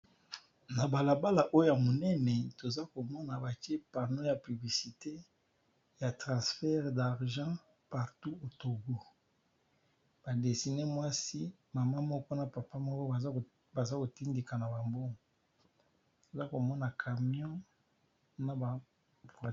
Na bala bala Oyo ya muñene Tozo komoni batier publicite ya transfer d'argent n'a boka ya Togo batier photo ya mamá mijo nakati